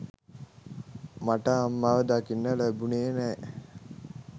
මට අම්මව දකින්න ලැබුනේ නෑ.